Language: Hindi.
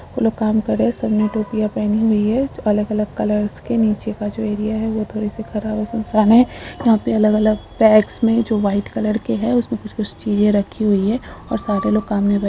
वो लोग काम कर रहे हैं सबने टोपियां पहनी हुई हैं। अलग -अलग कलर्स के नीचे का जो एरिया हैं। वह थोड़े से ख़राब और सुनसान हैं। यहाँ पे अलग -अलग बैग्स में जो वाइट कलर के हैं। उसमे कुछ- कुछ चीजे रखी हुई हैं और सारे लोग काम में --